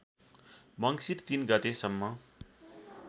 मङ्सिर ३ गतेसम्म